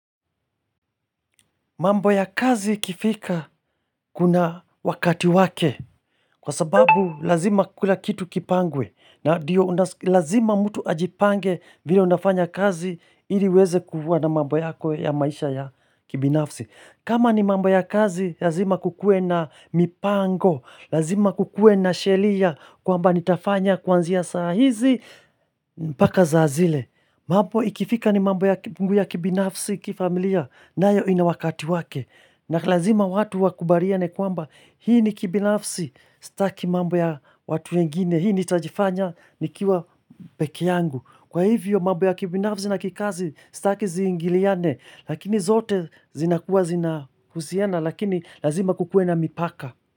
Mambo ya kazi kifika kuna wakati wake kwa sababu lazima kila kitu kipangwe na lazima mtu ajipange vile unafanya kazi ili weze kufuta na mambo yako ya maisha ya kibinafsi. Kama ni mambo ya kazi lazima kukue na mipango, lazima kukue na sheria kwa mba nitafanya kwanzia sahizi mpaka saazile. Mambo ikifika ni mambo ya kibinafsi kifamilia na hiyo ina wakati wake na lazima watu wakubariane kwamba hii ni kibinafsi staki mambo ya watu wengine Hii ni tajifanya nikiwa pekee yangu Kwa hivyo mambo ya kibinafsi na kikazi staki zingiliane Lakini zote zinakuwa zinahusiana lakini lazima kukue na mipaka.